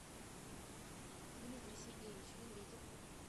дмитрий сергеевич медведев